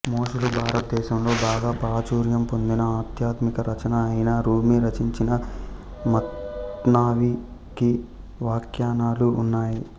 మొఘలు భారతదేశంలో బాగా ప్రాచుర్యం పొందిన ఆధ్యాత్మిక రచన అయిన రూమి రచించిన మత్నావి కి వ్యాఖ్యానాలు ఉన్నాయి